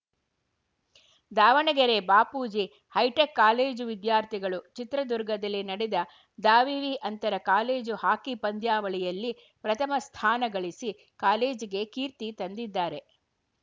Davanagere Bapuji hitech college ವಿದ್ಯಾರ್ಥಿಗಳು ಚಿತ್ರದುರ್ಗದಲ್ಲಿ ನಡೆದ ದಾವಿವಿ ಅಂತರ ಕಾಲೇಜು ಹಾಕಿ ಪಂದ್ಯಾವಳಿಯಲ್ಲಿ ಪ್ರಥಮ ಸ್ಥಾನಗಳಿಸಿ ಕಾಲೇಜಿಗೆ ಕೀರ್ತಿ ತಂದಿದ್ದಾರೆ